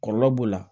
Kɔlɔlɔ b'o la